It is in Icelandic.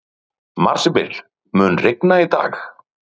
Marsibil, mun rigna í dag?